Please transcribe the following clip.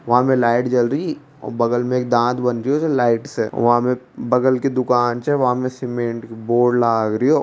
वा में लाइट जल री बगल में एक दांत बन रेहो लाइट से वा में बगल की दुकान छे वा में सीमेंट की बोर्ड लाग रिहो।